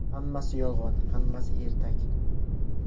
Hammasi yolg‘on, hammasi ertak.